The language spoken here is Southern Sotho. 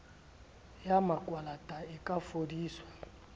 ya makwalata e ka fodiswa